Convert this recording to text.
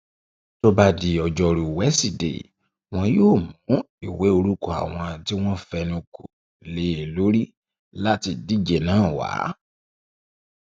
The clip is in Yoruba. tó bá um di ọjọrùúwíṣọdẹẹ wọn yóò mú ìwé um orúkọ àwọn tí wọn fẹnu kò lé lórí láti díje náà wá